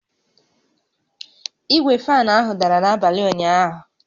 Igwe fan ahụ dara n'abalị ụnyaahụ